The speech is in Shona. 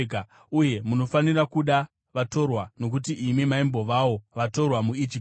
Uye munofanira kuda vatorwa, nokuti imi maimbovawo vatorwa muIjipiti.